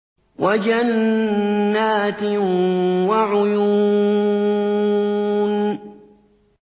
وَجَنَّاتٍ وَعُيُونٍ